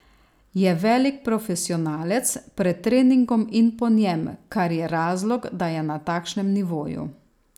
Je velik profesionalec pred treningom in po njem, kar je razlog, da je na takšnem nivoju.